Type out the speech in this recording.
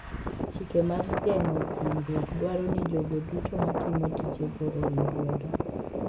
Chike mag geng'o hinyruok dwaro ni jogo duto matimo tijego oriw lwedo.